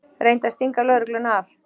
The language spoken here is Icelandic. Reyndi að stinga lögregluna af